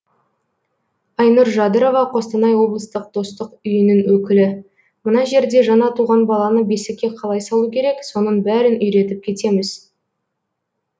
айнұр жадырова қостанай облыстық достық үйінің өкілі мына жерде жаңа туған баланы бесікке қалай салу керек соның бәрін үйретіп кетеміз